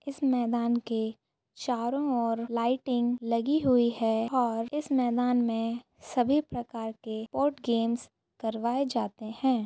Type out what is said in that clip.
इस मैदान के चारों और लाइटिंग लगी हुई है और इस मैदान में सभी प्रकार के स्पोर्ट गेमस करवाए जाते हैं।